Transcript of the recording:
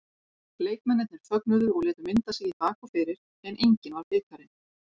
Leikmennirnir fögnuðu og létu mynda sig í bak og fyrir en enginn var bikarinn.